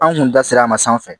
An kun da ser'a ma sanfɛ